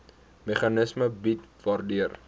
meganisme bied waardeur